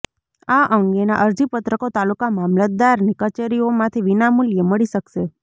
આ અંગેના અરજીપત્રકો તાલુકા મામલતદારની કચેરીઓમાંથી વિનામૂલ્યે મળી શકશે